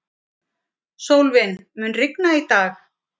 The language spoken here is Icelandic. Sólvin, mun rigna í dag?